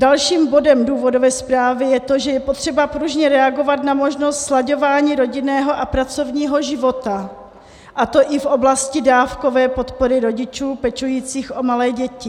Dalším bodem důvodové zprávy je to, že je potřeba pružně reagovat na možnost slaďování rodinného a pracovního života, a to i v oblasti dávkové podpory rodičů pečujících o malé děti.